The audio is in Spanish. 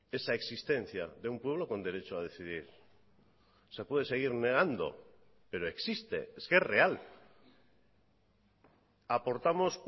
esa existencia de un pueblo con derecho a decidir se puede seguir negando pero existe es que es real aportamos